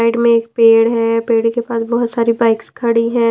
Side में एक पेड़ है पेड़ के पास बहुत सारी बाइक्स खड़ी हैं।